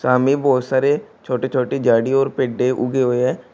सामने बहोत सारे छोटे छोटे झाड़ी और पेड़े दे उगे हुए हैं।